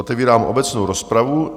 Otevírám obecnou rozpravu.